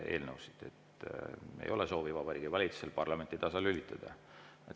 Ei ole soovi Vabariigi Valitsusel parlamenti tasalülitada.